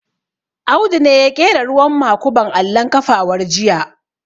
Audu ne ya ƙera ruwan makuban allon kafawar jiya